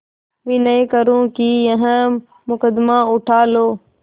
विनय करुँ कि यह मुकदमा उठा लो